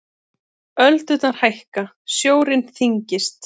Öldurnar hækka, sjórinn þyngist.